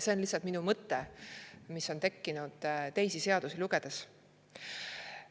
See on lihtsalt üks mõte, mis on mul tekkinud teisi seadusi lugedes.